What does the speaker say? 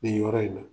Nin yɔrɔ in na